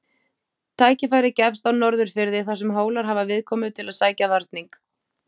Tækifærið gefst á Norðurfirði þar sem Hólar hafa viðkomu til að sækja varning.